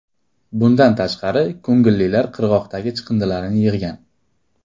Bundan tashqari ko‘ngillilar qirg‘oqlardagi chiqindilarni yig‘gan.